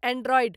Android.